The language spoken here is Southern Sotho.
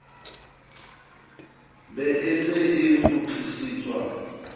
be e se e kgutlisetswa